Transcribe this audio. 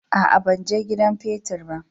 A'a, ban he gidan petir ba.